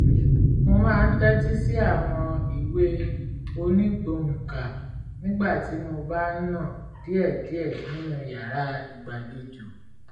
mo máa ń tẹ́tí sí àwọn ìwé onígbohùnkà nígbà tí mo bá ń nà diẹ̀díẹ̀ nínú yàrá ìgbàlejò